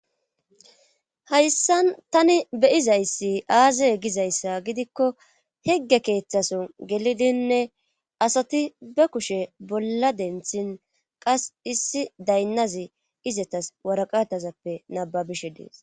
Hayssan tani beyizayssi aazay gizayssa gidikko hegge keeththason gelidinne asati be kushe bolla denthin qas issi daynnazi izatas waraqatazappe nababishe dees